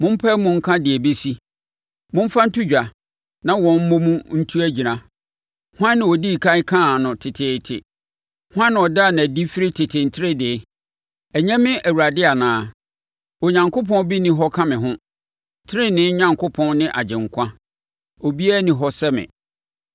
Mompae mu nka deɛ ɛbɛsi. Momfa nto dwa na wɔn mmɔ mu ntu agyina. Hwan na ɔdii ɛkan kaa no teteete, hwan na ɔdaa no adi firi tete nteredee? Ɛnyɛ me Awurade anaa? Onyankopɔn bi nni hɔ ka me ho, tenenee Onyankopɔn ne Agyenkwa; obiara nni hɔ sɛ me.